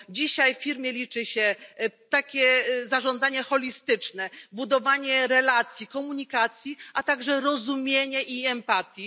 Dzisiaj w firmie liczy się takie zarządzanie holistyczne, budowanie relacji, komunikacja, a także zrozumienie i empatia.